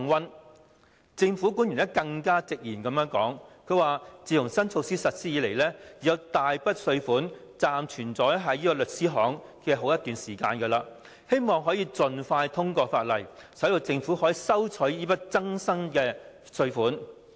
有政府官員更直言，自新措施實施以來，已有大筆稅款暫存在律師行內一段時間；他希望可以盡快通過《條例草案》，使政府得以收取這筆新增稅款。